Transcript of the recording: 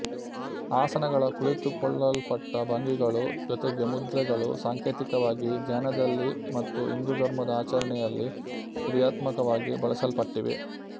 ಆಸನಗಳ ಕುಳಿತುಕೊಳ್ಳಲ್ಪಟ್ಟ ಭಂಗಿಗಳು ಜೊತೆಗೆ ಮುದ್ರೆಗಳು ಸಾಂಕೇತಿಕವಾಗಿ ಧ್ಯಾನದಲ್ಲಿ ಮತ್ತು ಹಿಂದೂಧರ್ಮದ ಆಚರಣೆಯಲ್ಲಿ ಕ್ರಿಯಾತ್ಮಕವಾಗಿ ಬಳಸಲ್ಪಟ್ಟಿವೆ